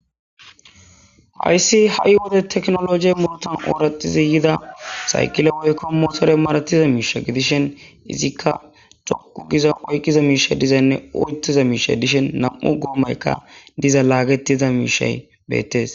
Hayssi ha7i wode teknoloje muruutan ooraxizi yida saykile woykko motore maratiza miisha gidishin izikka tokku giza oykkiza miishay dizaynne oyttiza miishay dishen nam7u goomaykka diza laagetiza miishay beettes.